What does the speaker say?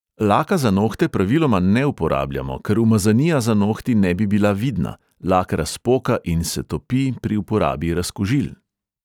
Laka za nohte praviloma ne uporabljamo, ker umazanija za nohti ne bi bila vidna, lak razpoka in se topi pri uporabi razkužil.